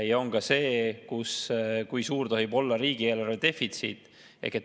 Ja on ka see, kui suur tohib olla riigieelarve defitsiit.